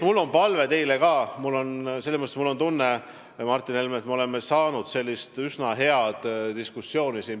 Mul on tunne, Martin Helme, et me oleme siin saanud üsna head diskussiooni pidada.